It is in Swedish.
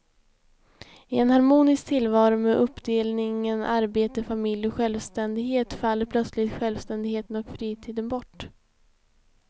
I en harmonisk tillvaro med uppdelningen arbete, familj och självständighet faller plötsligt självständigheten och fritiden bort.